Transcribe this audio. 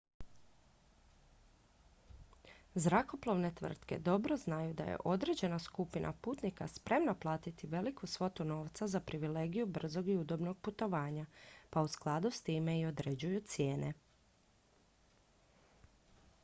zrakoplovne tvrtke dobro znaju da je određena skupina putnika spremna platiti veliku svotu novca za privilegiju brzog i udobnog putovanja pa u skladu s time i određuju cijene